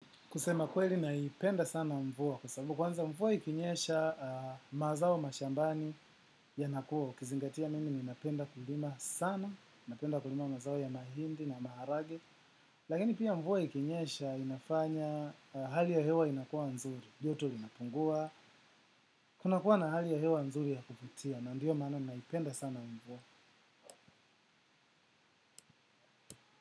Kusema kweli naipenda sana mvua kwa sababu kwanza mvua ikinyesha mazao mashambani yanakua, ukizingatia mimi ninapenda kulima sana, napenda kulima mazao ya mahindi na maharage, lakini pia mvua ikinyesha inafanya hali ya hewa inakuwa nzuri, joto linapungua. Kuna kuwa na hali ya hewa nzuri ya kuvutia na ndiyo maana napenda sana mvua.